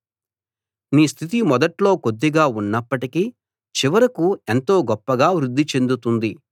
నీ స్థితి మొదట్లో కొద్దిగా ఉన్నప్పటికీ చివరకు ఎంతో గొప్పగా వృద్ధి చెందుతుంది